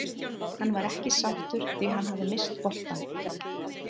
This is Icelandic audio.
Hann var ekki sáttur því hann hafði misst boltann.